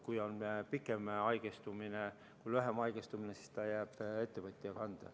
Kui see on lühem haigestumine, siis selle kulu jääb ettevõtja kanda.